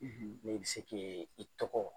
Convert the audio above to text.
n'e bɛ se ke i tɔgɔ.